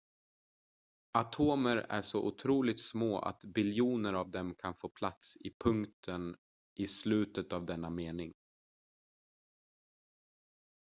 atomer är så otroligt små att biljoner av dem kan få plats i punkten i slutet av denna mening